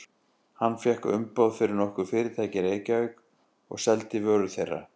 Hann fékk umboð fyrir nokkur fyrirtæki í Reykjavík og seldi vörur þeirra.